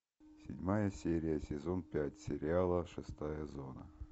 седьмая серия сезон пять сериала шестая зона